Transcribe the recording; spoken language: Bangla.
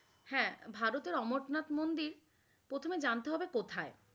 হ্যাঁ ভারতে অমরনাথ মন্দির, প্রথমে জানতে হবে কোথায়?